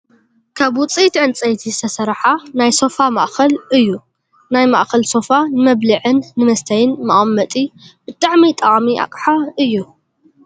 ካብ ውፅኢት ዕንፀይቲ ዝተሰረሓ ናይ ሶፋ ማእከል እዩ ። ናይ ማእከል ሶፋ ንመብልዕን ንመስተይን መቀመጢ ብጣዕሚ ጠቃሚ ኣቅሓ እዩ ።